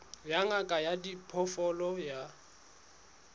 ya ngaka ya diphoofolo ya